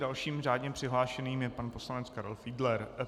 Dalším řádně přihlášeným je pan poslanec Karel Fiedler.